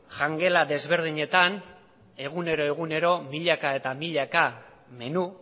jangela desberdinetan egunero egunero milaka eta milaka menu